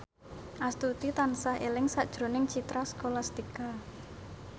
Astuti tansah eling sakjroning Citra Scholastika